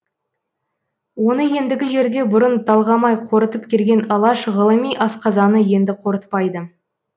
оны ендігі жерде бұрын талғамай қорытып келген алаш ғылыми асқазаны енді қорытпайды